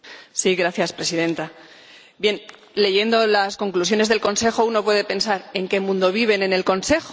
Señora Presidenta, leyendo las conclusiones del Consejo uno puede pensar ¿en qué mundo viven en el Consejo?